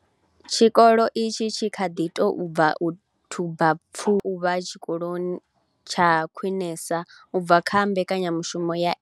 Tshikolo itshi tshi kha ḓi tou bva u thuba pfufho ya u vha tshikolo tsha Khwinesa u bva kha mbekanyamushumo ya NSNP.